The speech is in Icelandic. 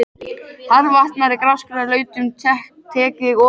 Hvarvetna í grasgrónum lautum tek ég ofan fyrir þér.